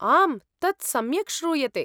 आम्, तत् सम्यक् श्रूयते।